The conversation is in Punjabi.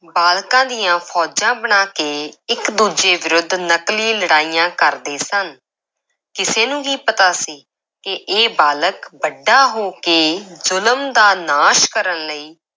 ਬਾਲਕਾਂ ਦੀਆਂ ਫੌਜਾਂ ਬਣਾ ਕੇ ਇੱਕ ਦੂਜੇ ਵਿਰੁੱਧ ਨਕਲੀ ਲੜਾਈਆਂ ਕਰਦੇ ਸਨ, ਕਿਸੇ ਨੂੰ ਕੀ ਪਤਾ ਸੀ ਕਿ ਇਹ ਬਾਲਕ ਵੱਡਾ ਹੋ ਕੇ ਜ਼ੁਲਮ ਦਾ ਨਾਸ਼ ਕਰਨ ਲਈ